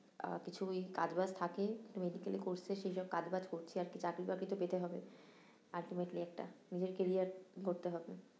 আহ কিছু ওই কাজ বাজ একটু মেডিকেল course এর সেই সব কাজ বাজ করছি আর কি, চাকরি বাকরি তো পেতে হবে ultimately একটা, নিজের carriar গড়তে হবে